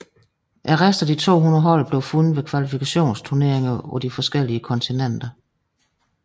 De øvrige 22 hold blev fundet ved kvalifikationsturneringer på de forskellige kontinenter